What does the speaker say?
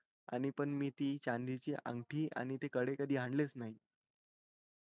आणि पण मी ती चांदी ची अंगठी आणि ते कडे कधी आणले च नई